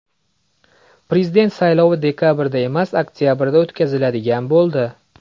Prezident saylovi dekabrda emas, oktabrda o‘tkaziladigan bo‘ldi .